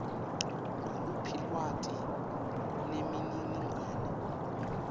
nguluphi lwati nemininingwane